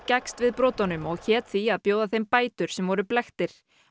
gekkst við brotunum og hét því að bjóða þeim bætur sem voru blekktir